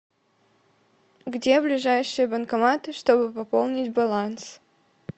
где ближайшие банкоматы чтобы пополнить баланс